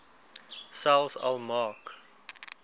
selfs al maak